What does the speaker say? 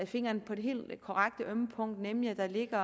fingeren på det helt korrekte ømme punkt nemlig at der ligger